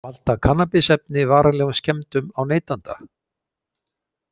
Valda kannabisefni varanlegum skemmdum á neytanda?